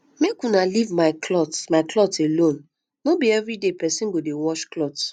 make una leave my cloth my cloth alone no be everyday person go dey wash cloth